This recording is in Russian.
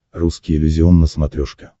русский иллюзион на смотрешке